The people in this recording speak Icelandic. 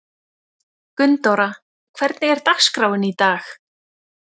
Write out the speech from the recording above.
Gunndóra, hvernig er dagskráin í dag?